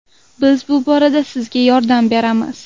Biz bu borada sizga yordam beramiz.